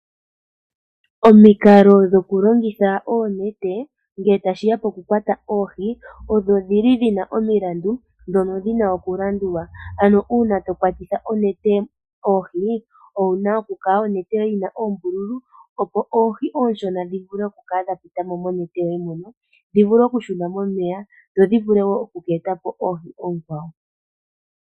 Omikalo dhokulongitha oonete ngele tashiya pokukwata oohi odhina omilandu ndhono dhina oku landulwa. Uuna tokwatitha onete oohi, onete oyina oku kala yina oombululu opo oohi oonshona dhivule oku kala dha pita mo monete, dhi shune momeya nodhi ete po oohi oonkwawo.